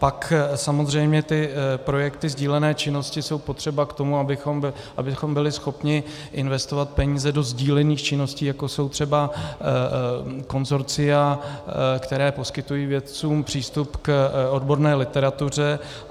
Pak samozřejmě ty projekty sdílené činnosti jsou potřeba k tomu, abychom byli schopni investovat peníze do sdílených činností, jako jsou třeba konsorcia, která poskytují vědcům přístup k odborné literatuře.